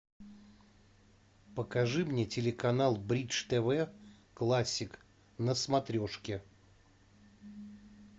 покажи мне телеканал бридж тв классик на смотрешке